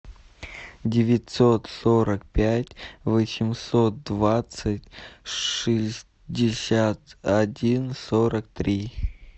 девятьсот сорок пять восемьсот двадцать шестьдесят один сорок три